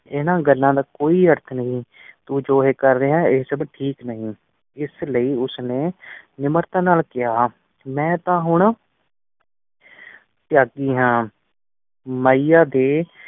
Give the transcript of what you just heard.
ਇਨ੍ਹਾਂ ਗੱਲਾਂ ਦਾ ਕੋਈ ਅਰਥ ਨਹੀਂ। ਤੂੰ ਹੈ ਏ ਕਰ ਰਿਹਾ ਹੈ, ਏ ਸਬ ਠੀਕ ਨਹੀਂ। ਇਸਲਈ ਉਸ ਨੇ ਨਿਮਰਤਾ ਨਾਲ ਕਿਹਾ, ਮੈਂ ਤਾਂ ਹੁਣ ਤ੍ਯਾਗੀ ਹਾਂ। ਮਾਹੀਆ ਦੇ